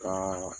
Ka